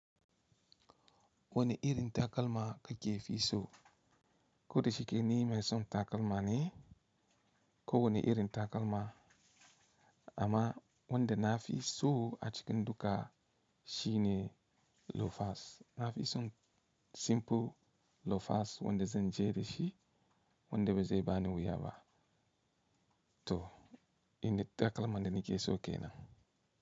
Wane irin takalma ka ke fi so? Ko da shike ni mai son takalma ne, ko wani irin takalma, amma wanda na fi so a cikin duka shi ne loafers. Na fi son simple loafers wanda zan jere shi, wanda bazai bani wuya ba. To, inda takalma da nike so kenan.